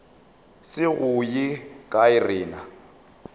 se go ye kae rena